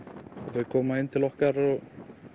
þau koma inn til okkar og